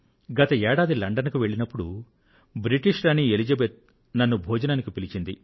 గత ఏడాది లండన్ కు వెళ్లినప్పుడు బ్రిటిష్ రాణి ఎలిజిబెత్ నన్ను భోజనానికి పిలిచారు